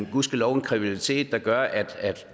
gudskelov en kreativitet der gør at